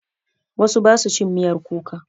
Wasu ba su cin miyar kuka.